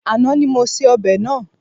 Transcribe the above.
Àná ni mo se ọbẹ̀ náà.